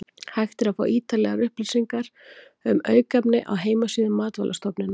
Hægt er að fá ítarlegar upplýsingar um aukefni á heimasíðu Matvælastofnunar.